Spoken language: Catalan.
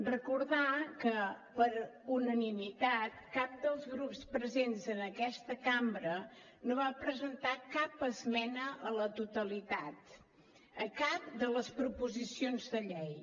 recordar que per unanimitat cap dels grups presents en aquesta cambra no va presentar cap esmena a la totalitat a cap de les proposicions de llei